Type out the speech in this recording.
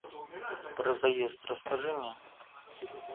про заезд расскажи мне